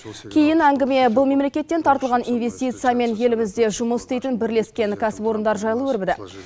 кейін әңгіме бұл мемлекеттен тартылған инвестиция мен елімізде жұмыс істейтін бірлескен кәсіпорындар жайлы өрбіді